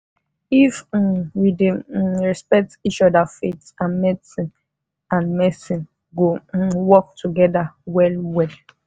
if um we dey um respect each other faith and medicine and medicine go um work together well-well.